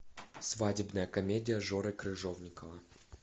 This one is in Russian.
свадебная комедия жоры крыжовникова